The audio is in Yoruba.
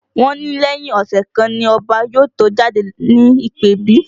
Wọ́n ní lẹ́yìn ọ̀sẹ̀ kan ni Ọba yóò tó jáde ní ìpèbí